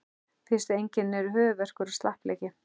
Fyrstu einkennin eru höfuðverkur og slappleiki.